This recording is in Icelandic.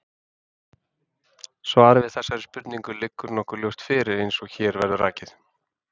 Svarið við þessari spurningu liggur nokkuð ljóst fyrir, eins og hér verður rakið.